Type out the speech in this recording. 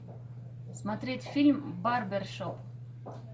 смотреть фильм барбершоп